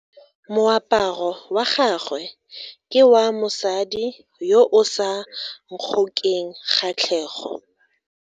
Moaparo wa gagwe ke wa mosadi yo o sa ngokeng kgatlhego.